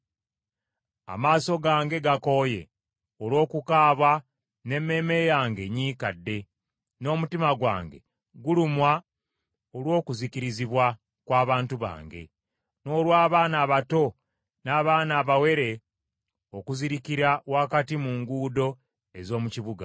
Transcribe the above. Amaaso gange gakooye olw’okukaaba n’emmeeme yange enyiikadde n’omutima gwange gulumwa olw’okuzikirizibwa kw’abantu bange, n’olw’abaana abato n’abaana abawere okuzirikira wakati mu nguudo ez’omu kibuga.